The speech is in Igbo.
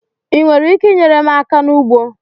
Ị nwere ike inyere m aka n'ugbo?